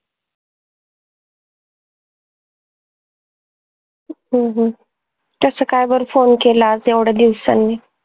हम्म हम्म कस काय बर Phone केला आज येवड्या दिवसांनी?